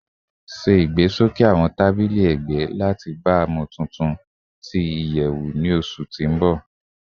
Ṣe igbesoke awọn tabili ẹgbẹ lati baamu tuntun tuntun ti iyẹwu ni oṣu ti n bọ